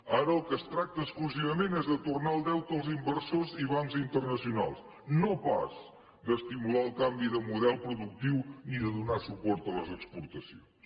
ara del que es tracta exclusivament és de tornar el deute als inversors i bancs internacionals no pas d’estimular el canvi de model productiu ni de donar suport a les exportacions